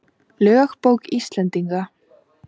Lögbók Íslendinga.